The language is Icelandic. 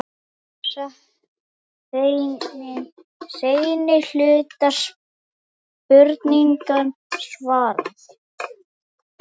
Hér er seinni hluta spurningarinnar svarað.